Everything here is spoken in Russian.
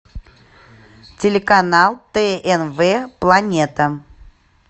телеканал тнв планета